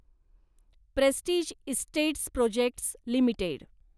prestige Estates Projects limited